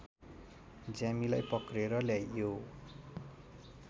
ज्यामीलाई पक्रेर ल्याइयो